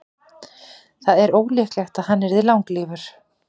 það er ólíklegt að hann yrði langlífur